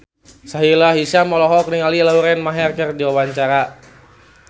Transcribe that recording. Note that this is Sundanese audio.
Sahila Hisyam olohok ningali Lauren Maher keur diwawancara